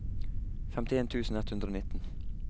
femtien tusen ett hundre og nitten